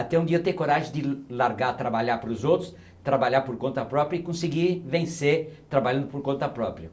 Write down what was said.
Até um dia ter coragem de largar, trabalhar para os outros, trabalhar por conta própria e conseguir vencer trabalhando por conta própria.